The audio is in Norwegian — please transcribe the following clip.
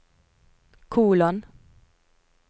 kolon